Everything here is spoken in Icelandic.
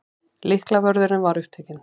Lyklavörðurinn var upptekinn.